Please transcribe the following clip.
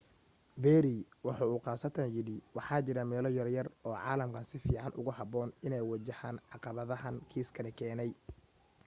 perry waxa uu khaasatan yidhi waxa jira meelo yaryar oo caalamkan si fiican ugu habboon inay waajahaan caqabadaha kiiskani keenay.